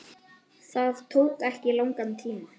Það tók ekki langan tíma.